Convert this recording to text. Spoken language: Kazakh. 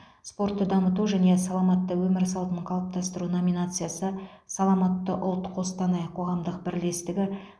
спортты дамыту және саламатты өмір салтын қалыптастыру номинациясы саламатты ұлт қостанай қоғамдық бірлестігі